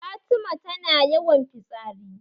Fatima tana yawan fitsari